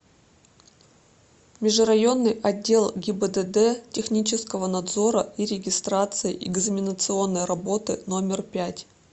межрайонный отдел гибдд технического надзора и регистрации экзаменационной работы номер пять